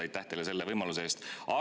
Aitäh teile selle võimaluse eest!